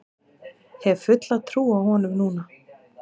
Hef fulla trú á honum núna.